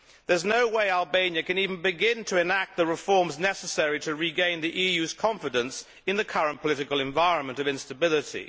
There is no way Albania can even begin to enact the reforms necessary to regain the EU's confidence in the current political environment of instability.